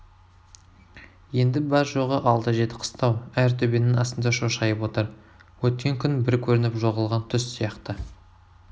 енді бар-жоғы алты-жеті қыстау әр төбенің астында шошайып отыр өткен күн бір көрініп жоғалған түс сияқты